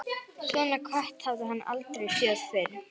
Svona kött hafði hann aldrei séð fyrr.